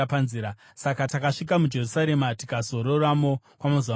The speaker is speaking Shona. Saka takasvika muJerusarema tikazororamo kwamazuva matatu.